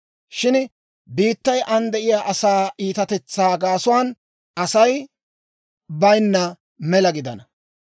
Shin biittay aan de'iyaa asaa iitatetsaa gaasuwaan Asay bayinna mela gidana.